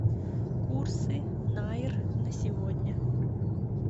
курсы найр на сегодня